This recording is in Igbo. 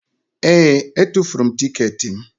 Ee! Etufuru m tiketi m.